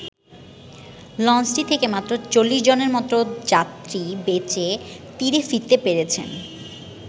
লঞ্চটি থেকে মাত্র ৪০ জনের মতো যাত্রী বেঁচে তীরে ফিরতে পেরেছেন।